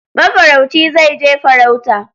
Mafarauci zai je farauta